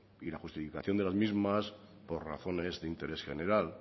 y la justificación de las mismas por razones de interés general